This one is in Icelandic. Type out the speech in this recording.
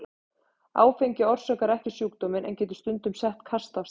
Áfengi orsakar ekki sjúkdóminn en getur stundum sett kast af stað.